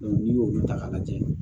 n'i y'olu ta k'a lajɛ